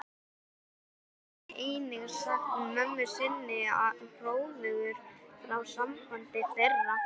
Hann hafði einnig sagt mömmu sinni hróðugur frá sambandi þeirra